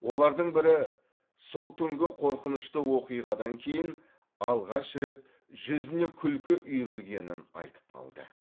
олардың бірі сол түнгі қорқынышты оқиғадан кейін алғаш рет жүзіне күлкі үйірілгенін айтып қалды